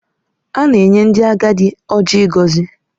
A na-enye ndị agadi Ọjị ịgọzi.